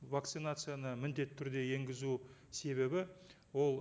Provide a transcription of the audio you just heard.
вакцинацияны міндетті түрде енгізу себебі ол